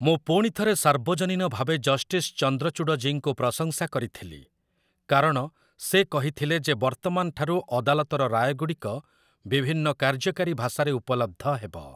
ମୁଁ ପୁଣିଥରେ ସାର୍ବଜନୀନ ଭାବେ ଜଷ୍ଟିସ୍ ଚନ୍ଦ୍ରଚୂଡ଼ଜୀଙ୍କୁ ପ୍ରଶଂସା କରିଥିଲି, କାରଣ, ସେ କହିଥିଲେ ଯେ ବର୍ତ୍ତମାନଠାରୁ ଅଦାଲତର ରାୟଗୁଡ଼ିକ ବିଭିନ୍ନ କାର୍ଯ୍ୟକାରୀ ଭାଷାରେ ଉପଲବ୍ଧ ହେବ ।